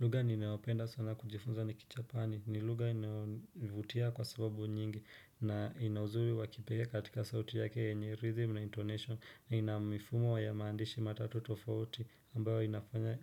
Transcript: Lugha ninayopenda sana kujifunza ni kijapani. Ni lugha inayonivutia kwa sababu nyingi na ina uzuri wa kipekee katika sauti yake yenye rhythm na intonation na ina mifumo ya maandishi matatu tofaoti ambayo inafanya